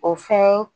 O fɛn